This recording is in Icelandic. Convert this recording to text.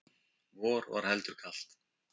Vor var heldur kalt.